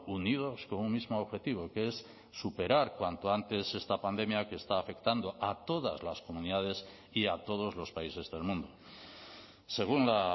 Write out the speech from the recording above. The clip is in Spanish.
unidos con un mismo objetivo que es superar cuanto antes esta pandemia que está afectando a todas las comunidades y a todos los países del mundo según la